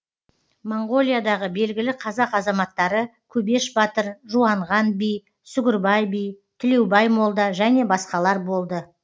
моңғолиядағы белгілі қазақ азаматтары көбеш батыр жуанған би сугірбай би тілеубай молда және басқалар болды